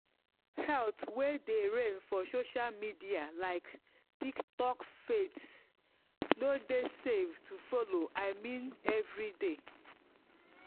health way dey reign for social media like detox fads no dey safe to follow i mean every day.